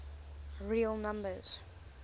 real numbers